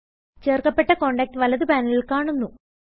ചേർക്കപെട്ട contact വലത് പാനലിൽ കാണുന്നു